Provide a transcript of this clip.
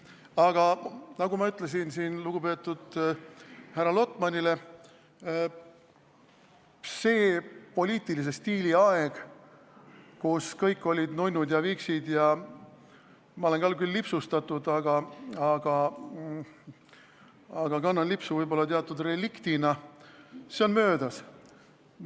Aga nagu ma ütlesin lugupeetud härra Lotmanile, selle poliitilise stiili aeg, kui kõik olid nunnud ja viksid – ma olen küll ka lipsustatud, aga kannan lipsu võib-olla teatud reliktina –, on möödas.